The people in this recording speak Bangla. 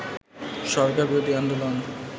সরকারবিরোধী আন্দোলন